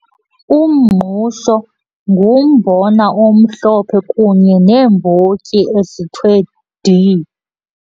Umngqusho ngumbona omhlophe kunye neembotyi ezithwe dii.